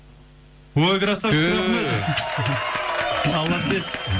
ой крассавчик түү молодец